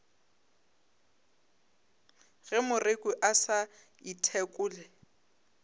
ge moreku a sa ithekole